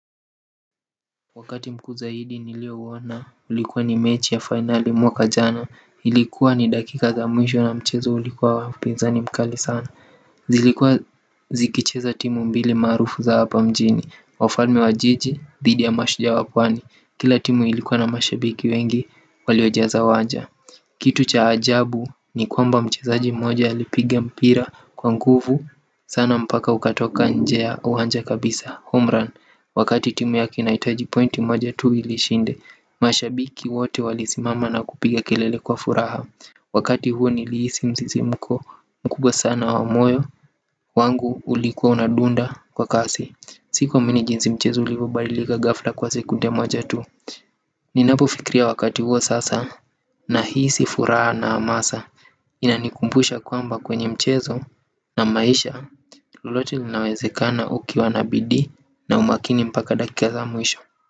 Wakati mkuu zaidi niliouona, ilikuwa ni mechi ya finali mwaka jana. Ilikuwa ni dakika za mwisho na mchezo ulikuwa wa upinzani mkali sana zilikuwa zikicheza timu mbili maarufu za hapa mjini wafalme wa jiji dhidi ya mashujaa wa pwani kila timu ilikuwa na mashabiki wengi walioijaza uwanja kitu cha ajabu ni kwamba mchezaji mmoja alipiga mpira kwa nguvu sana mpaka ukatoka nje ya uwanja kabisa homran wakati timu yake inahitaji pointi moja tu ili ishinde mashabiki wote walisimama na kupiga kelele kwa furaha wakati huo niliisi msisimko mkubwa sana wa moyo wangu ulikuwa unadunda kwa kasi. Sikuamini jinsi mchezo ulivyobadilika ghafla kwa sekunde moja tu. Ninapofikiria wakati huo sasa na hisi furaha na amasa inanikumbusha kwamba kwenye mchezo na maisha lolote linawezekana ukiwa na bidii na umakini mpaka dakika za mwisho.